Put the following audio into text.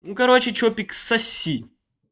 ну короче чопик соси